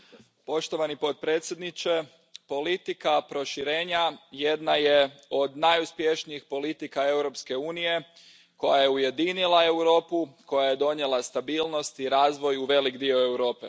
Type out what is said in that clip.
Poštovani predsjedavajući, politika proširenja jedna je od najuspješnijih politika Europske unije koja je ujedinila Europu, koja je donijela stabilnost i razvoj u velik dio Europe.